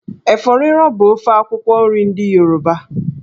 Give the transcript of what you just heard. Efo riro bụ ofe akwụkwọ nri ndị Yoruba.